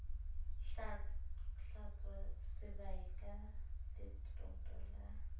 hlwatswa sebae ka letoto la